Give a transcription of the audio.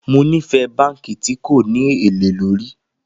Mo nifẹ banki ti ko ni ele lórí